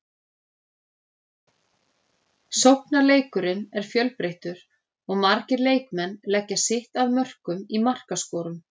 Sóknarleikurinn er fjölbreyttur og margir leikmenn leggja sitt að mörkum í markaskorun.